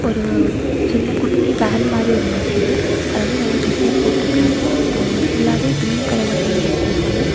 ஒரு சின்ன குட்டி வேன் மாதிரி ஒன்னு நிக்குது. அதாவது நெறைய டிசைன் போட்டு இருக்காங்க ஆ ஃபுல்லாவே கிரீன் கலர்ல பெயிண்ட் அடிச்சுருக்காங்க.